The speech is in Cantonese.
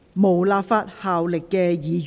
無立法效力的議員議案。